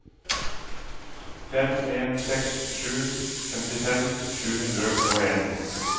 fem en seks sju femtifem sju hundre og en